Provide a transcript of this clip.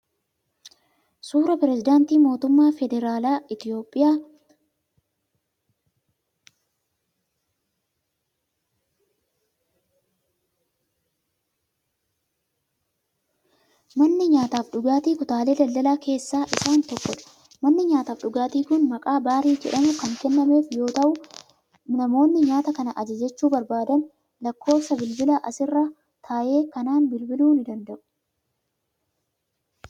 Suura pireezidaantii Mootummaa Federaalaa Itiyoophiyaa duraanii Dooktar Nagaasoo Gidaadaa. Dooktar Nagaasoo Gidaadaan bara mootummaa wayyaanee keessa pireezidaantii Itiyoophiyaa ta'uun waggoota hedduuf tajaajilanii jiru. Bara 2018 akka lakkoofsa Itiyoophiyaatti addunyaa kanarraa du'aan boqatan.